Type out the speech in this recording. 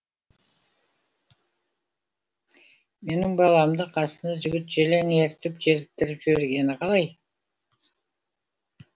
менің баламды қасына жігіт желең ертіп желіктіріп жібергені қалай